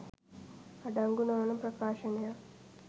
අඩංගු නො වන ප්‍රකාශනයක්